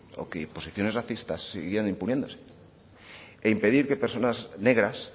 o que posiciones racistas siguieran imponiéndose e impedir que personas negras